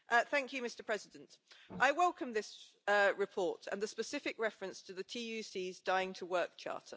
Mr President, I welcome this report and the specific reference to the TUC's Dying to Work Charter.